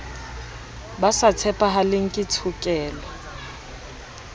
ba sa tshepahaleng ke tshokelo